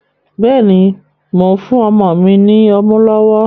Béèni, Mó n fún ọmọ ní ọmu lowo